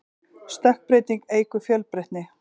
stökkbreyting eykur fjölbreytni